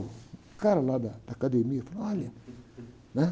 O cara lá da, da academia falou, olha.